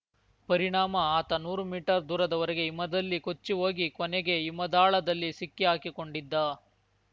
ಪರಿಣಾಮ ಆತ ನೂರು ಮೀಟರ್‌ ದೂರದವರೆಗೆ ಹಿಮದಲ್ಲಿ ಕೊಚ್ಚಿ ಹೋಗಿ ಕೊನೆಗೆ ಹಿಮದಾಳದಲ್ಲಿ ಸಿಕ್ಕಿಹಾಕಿಕೊಂಡಿದ್ದ